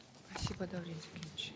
спасибо даурен зекенович